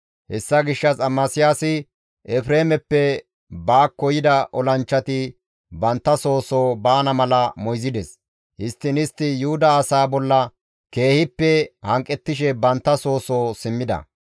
Hessa gishshas Amasiyaasi Efreemeppe baakko yida olanchchati bantta soo soo baana mala moyzides; histtiin istti Yuhuda asaa bolla keehippe hanqettishe bantta soo soo simmida.